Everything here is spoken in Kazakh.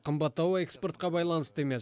қымбаттауы экспортқа байланысты емес